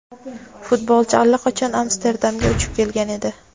Futbolchi allaqachon Amsterdamga uchib kelgan edi;.